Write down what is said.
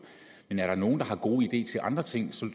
men er der nogen der har gode ideer til andre ting så